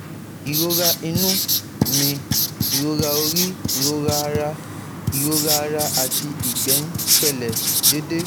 Ìrora inú mi, ìrora orí, ìrora ara ìrora ara àti ìgbẹ́ ń ṣẹlẹ̀ déédéé